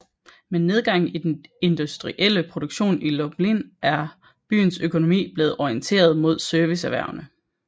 Med nedgangen i den industrielle produktion i Lublin er byens økonomi blevet orienteret mod serviceerhvervene